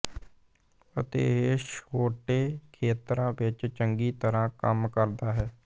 ਅਤੇ ਇਹ ਛੋਟੇ ਖੇਤਰਾਂ ਵਿੱਚ ਚੰਗੀ ਤਰ੍ਹਾਂ ਕੰਮ ਕਰਦਾ ਹੈ